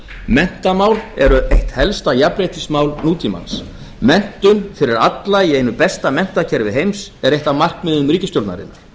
menntamál eru eitt helsta jafnréttismál nútímans menntun fyrir alla í einu besta menntakerfi heims er eitt af markmiðum ríkisstjórnarinnar